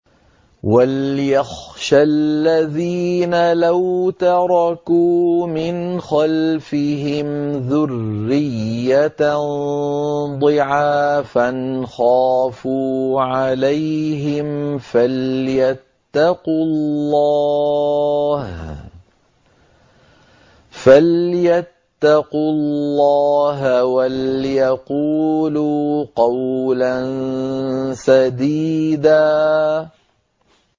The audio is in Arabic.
وَلْيَخْشَ الَّذِينَ لَوْ تَرَكُوا مِنْ خَلْفِهِمْ ذُرِّيَّةً ضِعَافًا خَافُوا عَلَيْهِمْ فَلْيَتَّقُوا اللَّهَ وَلْيَقُولُوا قَوْلًا سَدِيدًا